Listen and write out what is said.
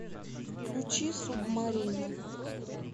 включи субмарину